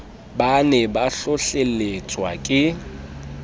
ba ne ba hlohlelletswa ke